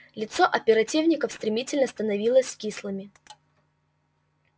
лицо оперативников стремительно становились кислыми